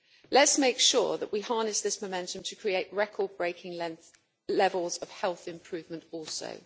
Let us make sure that we harness this momentum to create record-breaking levels of health improvement also.